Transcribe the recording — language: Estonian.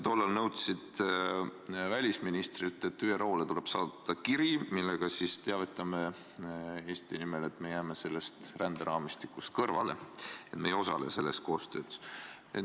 Tollal nõudsid sa välisministrilt, et ÜRO-le tuleb saata kiri, millega teavitataks Eesti nimel, et me jääme sellest ränderaamistikust kõrvale, et me ei osale selles koostöös.